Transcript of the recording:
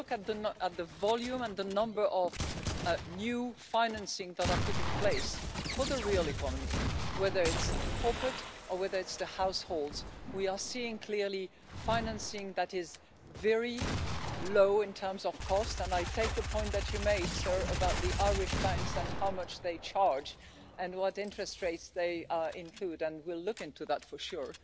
When you look at the volume and the number of new financing that are put in place for the real economy, whether it's the corporate or whether it's the households, we are seeing clearly financing that is very low in terms of cost, and I take the point that you made, sir, about the Irish banks and how much they charge and what interest rates they include, and we'll look into that for sure.